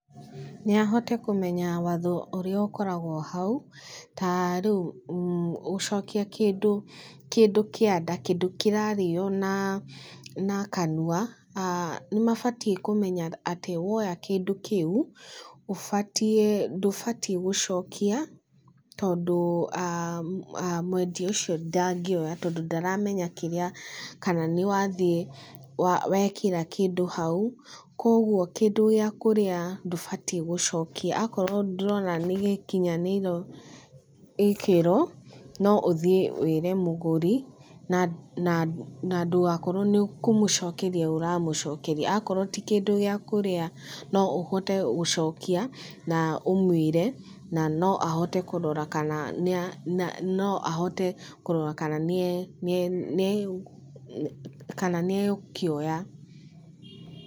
Nĩ ahote kũmenya watho ũrĩa ũkorawo hau, ta rĩu gũcokia kĩndũ kĩndũ kĩa nda kĩndũ kĩrarĩo na kanua, nĩ mabatiĩ kũmenya atĩ woya kĩndũ kĩu, ũbatie ndũbatiĩ gũcokia tondũ mwendia ũcio ndangĩoya tondũ ndaramenya kĩrĩa kana nĩ wathiĩ wekĩra kĩndũ hau, koguo kĩndũ gĩa kũrĩa ndũbatiĩ gũcokia, akorwo ndũrona nĩ gĩkinyanĩro gĩkĩro, no ũthiĩ wĩre mũgũri na na ndũgakorwo nĩ kũmũcokeria ũramũcokeria, akorwo ti kĩndũ gĩa kũrĩa no ũhote gũcokia na ũmwĩre na no ũhote kũrora kana nĩ no ahote kũrora kana nĩe kana nĩegũkĩoya.